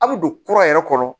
A' bɛ don kura yɛrɛ kɔrɔ